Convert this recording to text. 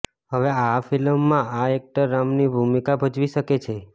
હવે આ ફિલ્મમાં આ એક્ટર રામની ભૂમિકા ભજવી શકે છે